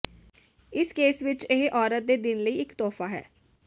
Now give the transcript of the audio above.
ਇਸ ਕੇਸ ਵਿੱਚ ਇਹ ਔਰਤ ਦੇ ਦਿਨ ਲਈ ਇੱਕ ਤੋਹਫਾ ਹੈ